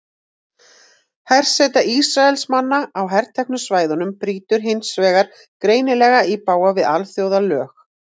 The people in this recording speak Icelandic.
Herseta Ísraelsmanna á herteknu svæðunum brýtur hins vegar greinilega í bága við alþjóðalög.